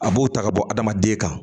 A b'o ta ka bɔ adamaden kan